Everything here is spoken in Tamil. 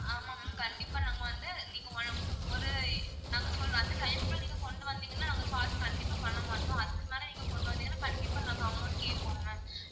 ஆமா ma'am கண்டிப்பா நாங்க வந்து நீங்க~ நீங்க ஒரு நாங்க சொல்ற அந்த time க்குள்ள நீங்க கொண்டு வந்தீங்கன்னா நாங்க charge கண்டிப்பா பண்ணமாட்டோம் அதுக்கு மேல நீங்க கொண்டு வந்தீங்கன்னா கண்டிப்பா நாங்க amount கேப்போம் ma'am